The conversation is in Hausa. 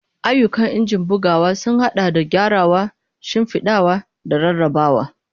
Ayyukan injin bugawa sun haɗa da gyarawa, shimfiɗawa, da rarrabawa.